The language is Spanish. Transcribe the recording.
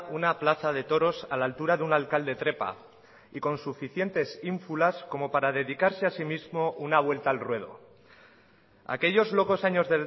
una plaza de toros a la altura de un alcalde trepa y con suficientes ínfulas como para dedicarse asimismo una vuelta al ruedo aquellos locos años